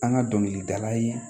An ka dɔnkilidala ye